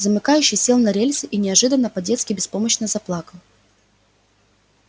замыкающий сел на рельсы и неожиданно по-детски беспомощно заплакал